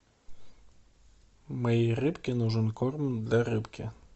моей рыбке нужен корм для рыбки